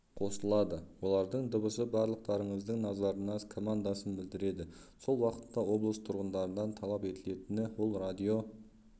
қосылады олардың дыбысы барлықтарыңыздың назарына командасын білдіреді сол уақытта облыс тұрғындарынан талап етілетіні ол радио